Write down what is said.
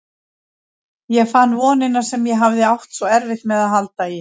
Ég fann vonina sem ég hafði átt svo erfitt með að halda í.